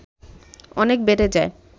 অনেক বেড়ে যায়